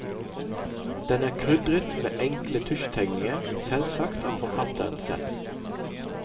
Den er krydret med enkle tusjtegninger, selvsagt av forfatteren selv.